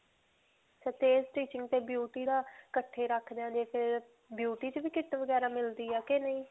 beauty ਦਾ ਇਕੱਠੇ ਰਖਦੇ ਹਾਂ ਜੇ ਫਿਰ ਤੇ beauty 'ਚ ਵੀ kit ਵਗੈਰਾ ਮਿਲਦੀ ਹੈ ਕਿ ਨਹੀਂ?